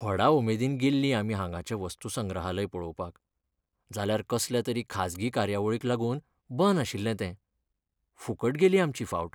व्हडा उमेदीन गेल्लीं आमी हांगाचें वस्तूसंग्रहालय पळोवपाक. जाल्यार कसल्या तरी खाजगी कार्यावळीक लागून बंद आशिल्लें तें. फुकट गेली आमची फावट.